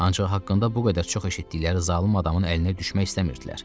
Ancaq haqqında bu qədər çox eşitdikləri zalım adamın əlinə düşmək istəmirdilər.